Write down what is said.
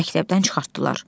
Məktəbdən çıxartdılar.